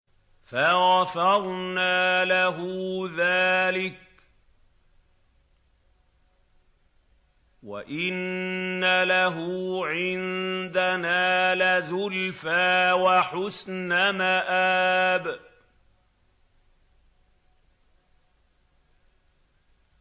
فَغَفَرْنَا لَهُ ذَٰلِكَ ۖ وَإِنَّ لَهُ عِندَنَا لَزُلْفَىٰ وَحُسْنَ مَآبٍ